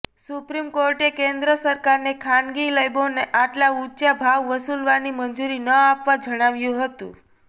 supreme કોર્ટે કેન્દ્ર સરકારને ખાનગી લેબોને આટલા ઉંચા ભાવ વસૂલવાની મંજૂરી ન આપવા જણાવ્યું હતું